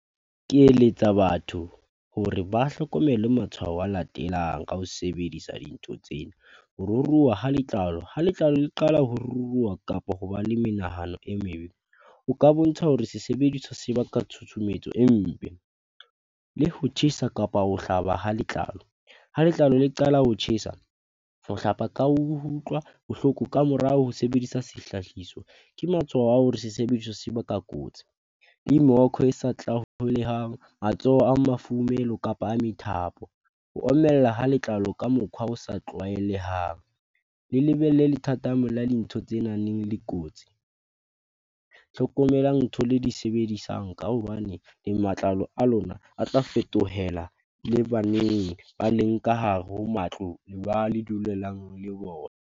Ke eletsa batho hore ba hlokomele matshwao a latelang ka ho sebedisa dintho tsena. Ho ruruha ha letlalo, ha letlalo le qala ho ruruha kapo hoba le menahano e mebe. Ho ka bontsha hore se sebediswa se baka tshutshumetso e mpe le ho tjhesa kapa ho hlaba ha letlalo. Ha letlalo le qala ho tjhesa, ho hlapa ka bohloko ka morao ho sebedisa sehlahiswa. Ke matshwao a hore se sebediswa se baka kotsi. matsoho a kapa a methapo, ho omella ha letlalo ka mokhwa o sa tlwaelehang. Le lebelle le lethathamo la dintho tsenang le kotsi. Tlhokomelang ntho le di sebedisang ka hobane le matlalo a lona a tla fetohela le baneng ba leng ka hare ho matlo ba le dulelang le bona.